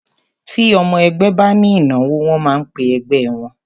Ti ọmọ ẹgbẹ́ ba ní ìnáwó, wọ́n máa ń pẹ ẹgbẹ́ wọ́n.